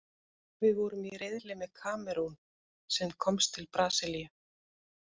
Við vorum í riðli með Kamerún, sem komst til Brasilíu.